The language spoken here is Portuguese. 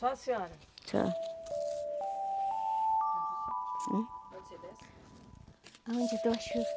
Só a senhora? Só.